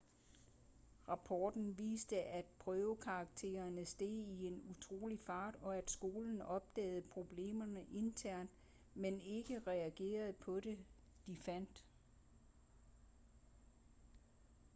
rapporten viste at prøvekaraktererne steg i en utrolig fart og at skolen opdagede problemerne internt men ikke reagerede på det de fandt